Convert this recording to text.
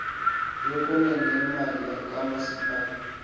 yokwenene yemali kamasipala